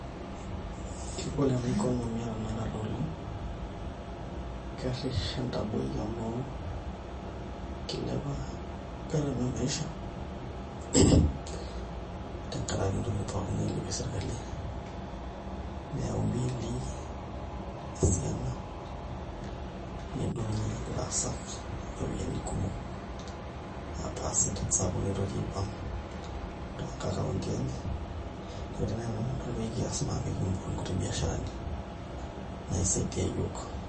kegol enaa economy ee tenekata oleng kerish entaboi amuu kilepa gharama eee maisha tengaraki intokiting pooki nailepie serikali neyau mbilii esiana nedungi ilaas empisai kumok percentage sapuk tee account enye niaku koree naii enikias naa pekiibool inkuti biasaharani naisaidia iyiook